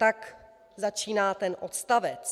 Tak začíná ten odstavec.